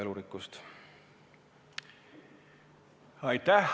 Aitäh!